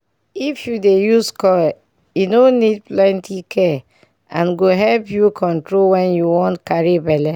if u dey use coil e no need plenty care and go help u control wen u wan carry belle